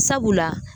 Sabula